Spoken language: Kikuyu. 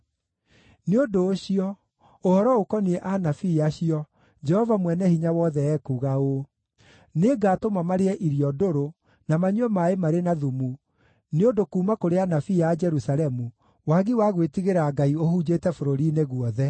Nĩ ũndũ ũcio, ũhoro ũkoniĩ anabii acio, Jehova Mwene-Hinya-Wothe ekuuga ũũ: “Nĩngatũma marĩe irio ndũrũ na manyue maaĩ marĩ na thumu, nĩ ũndũ kuuma kũrĩ anabii a Jerusalemu, wagi wa gwĩtigĩra Ngai ũhunjĩte bũrũri-inĩ guothe.”